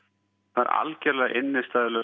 það er algjörlega